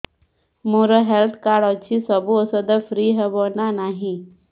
ମୋର health card ଅଛି ସବୁ ଔଷଧ ଫ୍ରି ହବ ନା ନାହିଁ